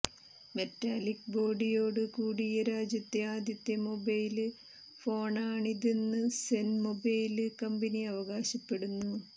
metallic ബോഡിയോടു കൂടിയ രാജ്യത്തെ ആദ്യത്തെ മൊബൈല് ഫോണാണിതെന്ന് സെന് മൊബൈല് കമ്പനി അവകാശപ്പെടുന്നു